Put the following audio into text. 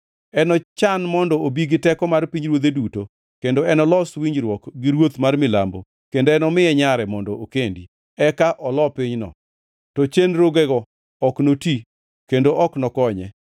Enochan mondo obi gi teko mar pinyruodhe duto, kendo enolos winjruok gi ruoth mar Milambo, kendo enomiye nyare mondo okendi, eka olo pinyno, to chenrogego ok noti, kendo ok nokonye.